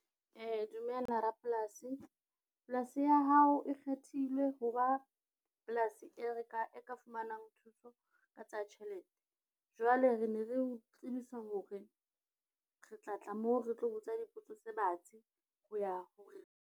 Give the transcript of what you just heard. Dumela rapolasi, polasi ya hao e kgethilwe ho ba polasi e re ka, e ka fumanang thuso ka tsa tjhelete. Jwale re ne re o tsebisa hore re tla tla moo re tlo botsa dipotso tse batsi ho ya hore.